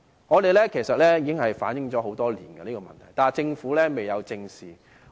我們其實已向政府反映這問題多年，但政府卻未有正視。